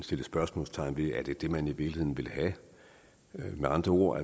sat spørgsmålstegn ved om det er det man i virkeligheden vil have med andre ord